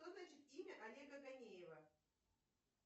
что значит имя олега ганеева